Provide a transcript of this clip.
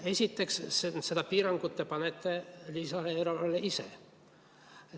Esiteks, selle piirangu te panete lisaeelarvele ise.